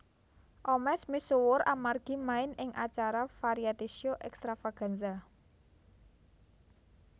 Omesh misuwur amargi main ing acara variety show Extravaganza